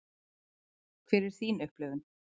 Hver er þín upplifun?